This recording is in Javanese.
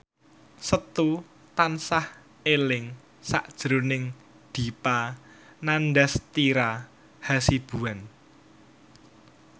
Setu tansah eling sakjroning Dipa Nandastyra Hasibuan